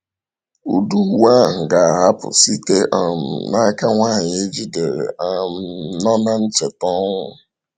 Ụdị uwe ahụ ga-ahapụ site um n’aka nwanyị e jidere um nọ na ncheta ọnwụ.